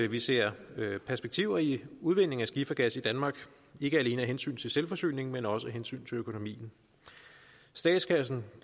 vi ser perspektiver i udvindingen af skifergas i danmark ikke alene af hensyn til selvforsyningen men også af hensyn til økonomien statskassen